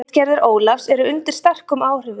Ritgerðir Ólafs eru undir sterkum áhrifum frá þeim.